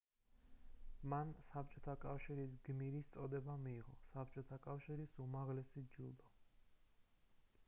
მან საბჭოთა კავშირის გმირის წოდება მიიღო საბჭოთა კავშირის უმაღლესი ჯილდო